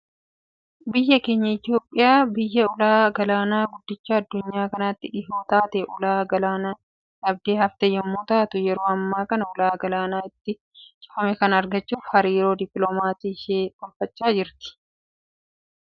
Biyyi keenya Itoophiyaan biyya ulaa galaana guddicha adunyaa kanaatti dhihoo taatee, ulaa galaanaa dhabdee hafte yemmuu taatu, yeroo ammaa kana ulaa galaanaa itti cufame kana argachuuf hariiroo dipiloomaasii ishee tolfachaa jirti.